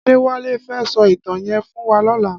Adewale fè sò itàn yèn fún wà lòlá